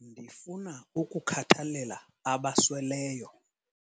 Ndifuna ukukhathalela abasweleyo.